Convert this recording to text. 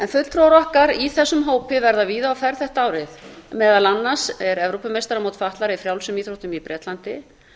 fulltrúar okkar í þessum hópi verða víða á ferð þetta árið meðal annars er evrópumeistaramót fatlaðra í frjálsum íþróttum í bretlandi